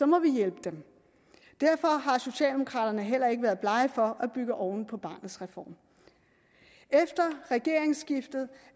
må vi hjælpe dem derfor har socialdemokraterne heller ikke været blege for at bygge oven på barnets reform efter regeringsskiftet